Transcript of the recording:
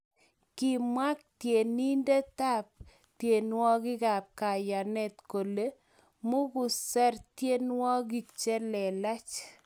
Kimwa tyenindetab tyenwokikab kayenet kole mukuser tyenwogik che lelach